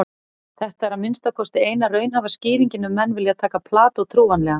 Þetta er að minnsta kosti eina raunhæfa skýringin ef menn vilja taka Plató trúanlegan.